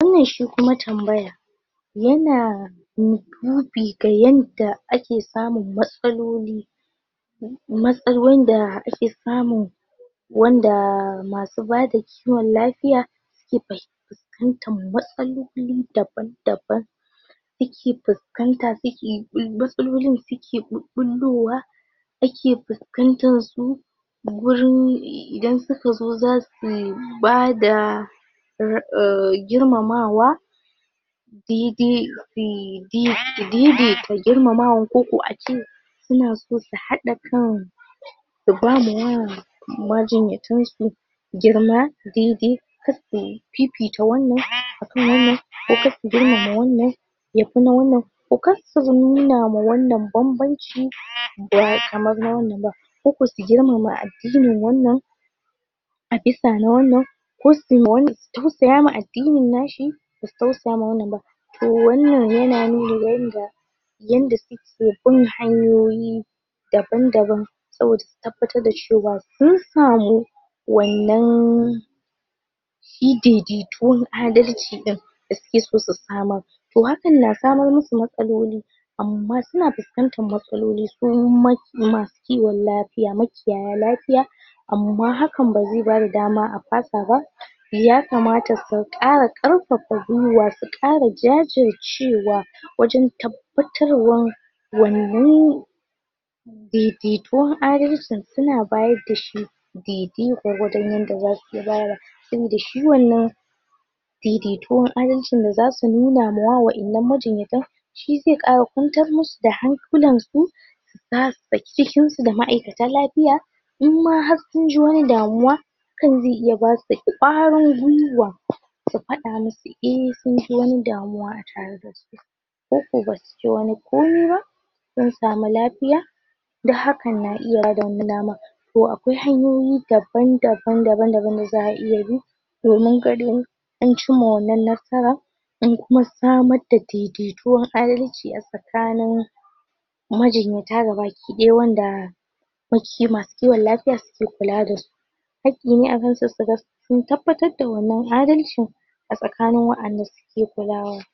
wannan shi kuma tambaya wannan shi kuma tambaya yana du dubi gayadda ake samun matsaloli matsalolin da ake samu wandaa masu bada kiwon lafiya fuskantan matsaloli daban daban ake fuskanta suke bul matsalolin suke bulbullowa ake fuskantan su wurin idan sukazo zasu bada ra um girmamawa dede be de dede ka girmamawa koko ace sunaso su hada kan su bama ya majinyatansu girma daidai karsu fifita wannan akan wannan ko karsu girmama wannan ya kuma wannan ko kar su nuna wa wannan banbanci ba kamar na wannan ba koko su girmama addinin wannan abisa na waannan ko suyi ma wannan su tausaya wa addinin nashi basu tausaya ma wannan basu tausaya ma wannan ba to wannan yana nuni ga yanda yanda suke bin hanyoyi daban daban saboda su tabbatar da cewa sun samu wannan shidedetuwan adalci ɗin da suke so su samar to hakan na samar musu da matsaloli amma suna fuskantan matsaloli wa masu kiwon lafiya makiyayan lafiya amma hakan baze bada dama a fasa ba ya kamata su kara karfafa gwiwa su kara jajircewa wajan tabbatarwan wanann daidaituwan adalci suna badashi daidai gwargwadon yanda zasu iya bada tunda shi wannan daidaituwan adalcin da zasu nuna mawa majinyatan shi ze kawo kwantar musu da hankularsu zasu saki jikinsu da ma'aikatan lafya inma har sunji wani damuwa hakan ze iya basu kwakwaran gwiwa su faɗa musu in sunji wani damuwa atareda su koko basu ce wani komaiba sun samu lafiya du hakkan na iya bada wannan daman to akwai hanyoyi daban daban daban da za'a iya bi domin ganin ancimma wannan nasara an kuma samarda daidaituwa an rike asakanin majinyata gabaki daya wanda makiyi masu kiwon lafiya suke kula dasu hakki ne akansu suga sun tabbatar da wannan adalci asakanin wayanda suke kulawa